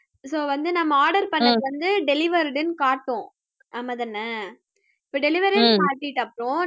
so வந்து நம்ம order பண்ணது வந்து delivered ன்னு காட்டும் ஆமா தானே இப்ப delivery ன்னு காட்டிட்டு அப்புறம் நம்ம